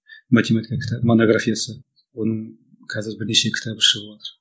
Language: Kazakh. математика кітабы монографиясы оның қазір бірнеше кітабы шығыватыр